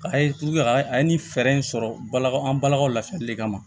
A ye a ka a ye nin fɛɛrɛ in sɔrɔ bala an balakaw lafiyali de kama